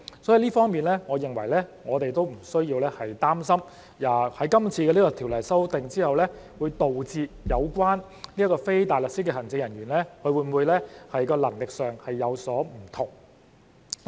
在這方面，我認為我們不需要擔心在今次的條例修訂後，會令人擔心非大律師律政人員在能力上會否有所不同。